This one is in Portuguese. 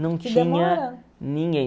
Não tinha ninguém.